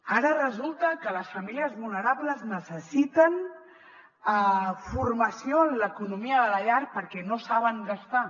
ara resulta que les famílies vulnerables necessiten formació en l’economia de la llar perquè no saben gastar